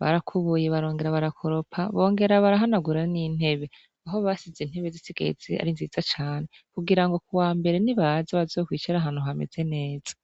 barakubuye barongera barakoropa bongera barahanagura n'intebe aho basize intebe zisigaye zi ari nziza cane kugira ngo ku wa mbere ni baza bazokwicara ahantu hameze neza.